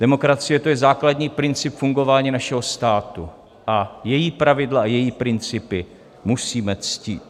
Demokracie, to je základní princip fungování našeho státu a její pravidla a její principy musíme ctít.